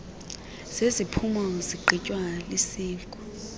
zeziphumo zigqitywa lisiko